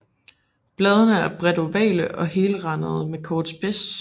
Bladene er bredt ovale og helrandede med kort spids